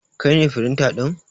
Kai ne firinta ɗin?